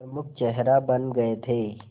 प्रमुख चेहरा बन गए थे